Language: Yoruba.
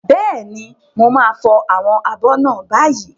Bẹ́ẹ̀ni, mo máa fọ àwọn abọ́ náà báyìí.